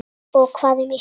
Og hvað um Ísland?